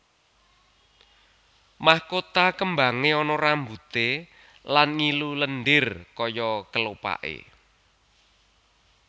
Mahkota kembangé ana rambuté lan ngilu lendir kaya kelopaké